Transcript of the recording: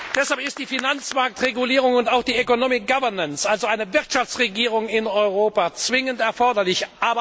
Deshalb ist die Finanzmarktregulierung und auch die Economic Governance also eine Wirtschaftsregierung in Europa, zwingend erforderlich.